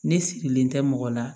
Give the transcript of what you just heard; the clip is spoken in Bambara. Ne sigilen tɛ mɔgɔ la